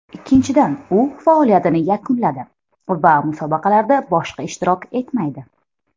Ikkinchidan, u faoliyatini yakunladi va musobaqalarda boshqa ishtirok etmaydi.